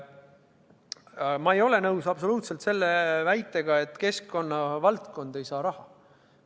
Kuid ma ei ole absoluutselt nõus väitega, et keskkonnavaldkond ei saa raha.